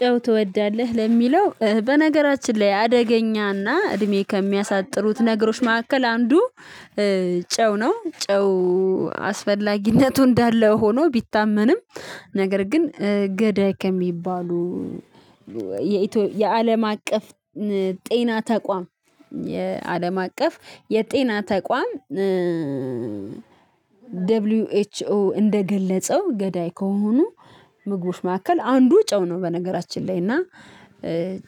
ጨው ትወዳለህ ለሚለው በነገራችን ላይ አደገኛና እድሜ ከሚያሳጥሩት ነገሮች መካከል አንዱ ጨው ነው። ጨው አስፈላጊነቱ እንዳለ ሆኖ ቢታመንም ነገር ግን ገዳይ ከሚባሉ የአለም አቀፍ ጤና ተቋም የአለም አቀፍ የጤና ተቋም ደብሊው ኤች ኦ እንደገለጸው ገዳይ ከሆኑ ምግቦች መካከል አንዱ ጨው ነው። በነገራችን ላይ እና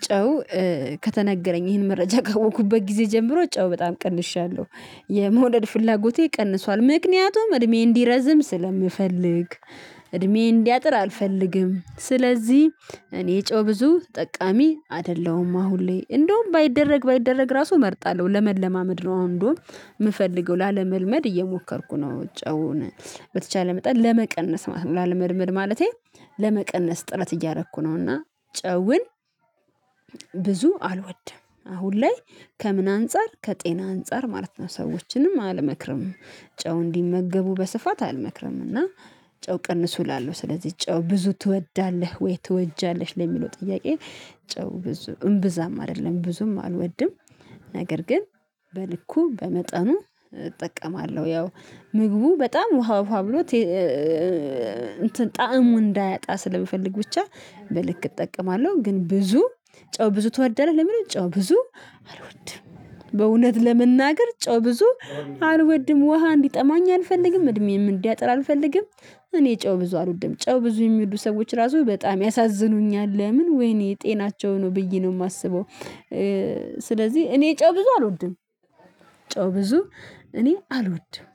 ጨው ከተነገረኝ ይሄን መረጃ ካወቅኩበት ጊዜ ጀምሮ ጨው በጣም ቀንሻለሁ የመውደድ ፍላጎቴ ቀንሷል ምክንያቱም እድሜዬን እንዲረዝም ስለምፈልግ። እድሜ እንዲያጥር አልፈልግም ስለዚህ እኔ ጮህ ብዙ ተጠቃሚ አይደለሁም አሁን ላይ እንደውም ባይደረግ ባይደረግ ራሱ እመርጣለሁ ለመለማመድ ነው። አሁን እንደውም የምፈልገው ላለመልመድ እየሞከርኩ ነው ጨውን በተቻለ መጠን ለመቀነስ ማለት ነው። ለመድመድ ማለቴ ለመቀነስ ጥረት እያደረኩ ነው። እና ጨውን ብዙ አልወድም። አሁን ላይ ከምን አንፃር ከጤና አንፃር ማለት ነው ሰዎችንም አልመክርም ጨው እንዲመገቡ በስፋት አልመክርም። እና ጨው ቀንሱ እላለሁ ስለዚህ ጨው ብዙ ትወዳለህ ወይ ትወጃለሽ ለሚለው ጥያቄ? ጨው ብዙ እምብዛም አይደለም ብዙም አልወድም። ነገር ግን በልኩ በመጠኑ እጠቀማለሁ ያው ምግቡ በጣም ውሃ ውሃ ብሎ ጣዕሙ እንዳያጣ ስለምፈልግ ብቻ በልክ እጠቀማለሁ። ግን ብዙ ጨው ብዙ ትወዳለህ ለሚለው ጨው ብዙ አልወድም። በእውነት ለመናገር ጨው ብዙ አልወድም። ውሃ እንዲጠማኝ አልፈልግም እድሜዬም እንዲያጥር አልፈልግም። እኔ ጨው ብዙ አልውድም ጨው ብዙ የሚሉ ሰዎች ራሱ በጣም ያሳዝኑኛል። ለምን? ወይኔ ጤናቸው ነው ብዬ ነው የማስበው። ስለዚህ እኔ ጨው ብዙ አልወድም። ጨው ብዙ እኔ አልወድም